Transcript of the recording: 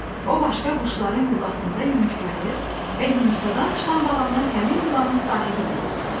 O başqa quşların yuvasında yumurtlayır və yumurtadan çıxan balanı həmin yuvanın sahibi yedizdirir.